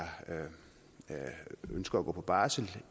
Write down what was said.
ønsker at gå på barsel